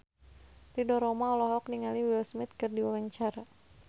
Ridho Roma olohok ningali Will Smith keur diwawancara